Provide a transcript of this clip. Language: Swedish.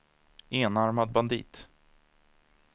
enarmad bandit